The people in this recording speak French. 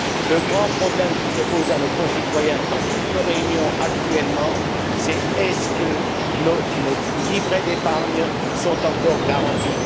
Le grand problème qui se pose à nos concitoyens dans toutes nos réunions actuellement, c'est est ce que nos livrets d'épargne sont encore garantis?.